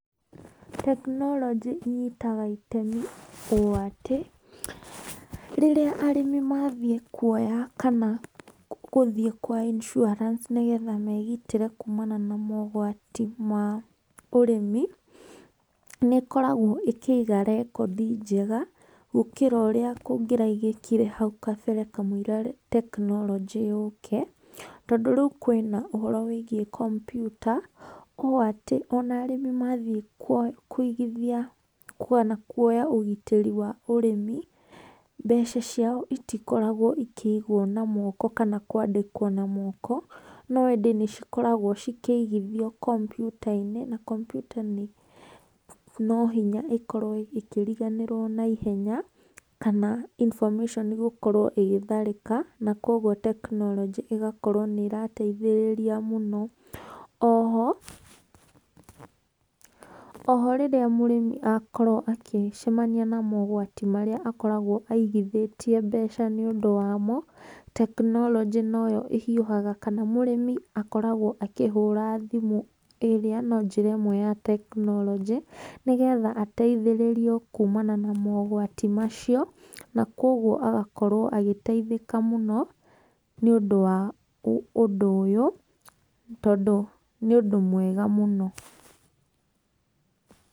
Tekinoronjĩ ĩnyitaga itemi ũ atĩ, rĩrĩa arĩmi mathĩĩ kũoya kana gũthiĩ kwa insuarance, nĩgetha megĩtĩre kũmana na maũgwati ma ũrĩmi, nĩkoragwo ĩkĩiga rekondĩ njega gũkĩra ũrĩa kũgĩraigĩkĩre haũ kambere kamũira tekinoronjĩ yũke, tondũ rĩũ kwĩna ũhoro wĩgiĩ kompiuta ũũ atĩ, ona arĩmi mathiĩ kũĩgĩthĩa kana kũoya ũgĩtĩri wa ũrĩmi, mbeca cia itĩkoragwo ikĩigwo na moko kana kũandĩkwo na moko, no ĩndĩ nĩ cikoragwo cikĩigĩthĩo kompiuta-inĩ na kompiuta no hĩnya ĩkorwo ĩkĩriganĩrwo naihenya kana information gũkorwo ĩgĩtharĩka na kuogwo tekinoronjĩ igakorwo ĩrateithĩrĩrĩa mũno. Oho, oho, rĩrĩa mũrĩmi akorwo agĩcemanĩa na maũgwatĩ marĩa akoragwo aigĩthĩtĩe mbeca nĩ ũndũ wamo, tekinoronjĩ no yo ĩhiũhaga kana mũrĩmi akoragwo akĩhũra thimũ ĩrĩa no njĩra ĩmwe ya tekinoronjĩ, nĩgetha ateĩthĩrĩrĩo kũũmana na maũgwatĩ macio, na kuogwo agakorwo agĩteĩhĩka mũno nĩ ũndũ wa ũndũ ũyũ, tondũ nĩ ũndũ mwega mũno.